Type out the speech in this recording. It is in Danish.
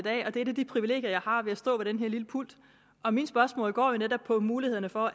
er et af de privilegier jeg har ved at stå ved den her lille pult og mit spørgsmål går netop på muligheder for